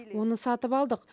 оны сатып алдық